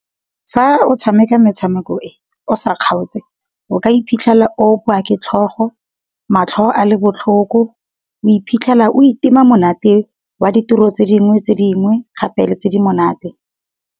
Fa o tshameka metshameko e o sa kgaotse, o ka iphitlhela o opiwa ke tlhogo, matlho a le botlhoko, o iphitlhela o itima monate wa ditiro tse dingwe tse dingwe gape le tse di monate.